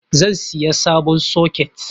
Zan siya sabon soket